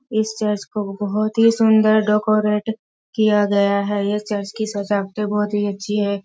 इस चर्च को बहुत ही सुन्दर डेकोरेट किया गया हैं यह चर्च की सजावटे बहुत ही अच्छी हैं।